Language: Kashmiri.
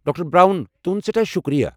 ڈاکٹر براؤن، تہنٛد سٮ۪ٹھاہ شُکریہ۔